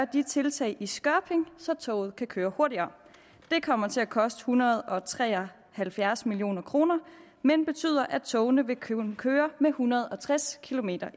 de tiltag i skørping så toget kan køre hurtigere det kommer til at koste en hundrede og tre og halvfjerds million kr men betyder at togene vil kunne køre med en hundrede og tres kilometer